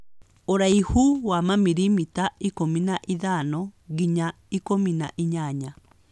Ũraihu wa mamilimita ikũmi na ithano nginya ikũmi na inyanya.